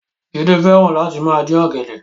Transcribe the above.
Jídé fẹ́ràn Láti máa dín ọ̀gẹ̀dẹ̀